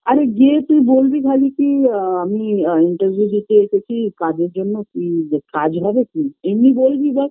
আরে গিয়ে কি বলবি খালি কি আ আমি interview দিতে এসেছি কাজের জন্য কি কাজ হবে কি এমনি বলবি ব্যস